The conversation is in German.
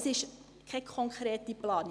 Es ist keine konkrete Planung.